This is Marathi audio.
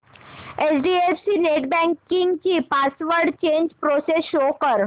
एचडीएफसी नेटबँकिंग ची पासवर्ड चेंज प्रोसेस शो कर